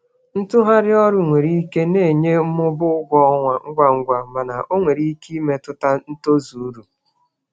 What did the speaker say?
Ịgbanwe ọrụ nwere um ike um inye mmụba ụgwọ ọrụ ngwa ngwa mana ọ nwere ike imetụta ikike inweta uru. um